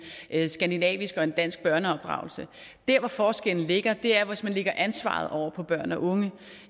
skandinavisk og en dansk børneopdragelse der hvor forskellen ligger er hvis man lægger ansvaret over på børn og unge